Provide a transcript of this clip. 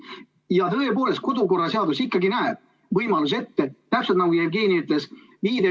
Ja tõepoolest, kodu- ja töökorra seadus ikkagi näeb ette võimaluse, täpselt nii, nagu Jevgeni ütles.